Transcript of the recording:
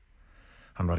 hann var